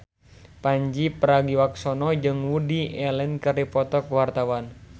Pandji Pragiwaksono jeung Woody Allen keur dipoto ku wartawan